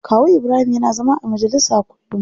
Kawu Ibrahim yana zama a majalisa kullum.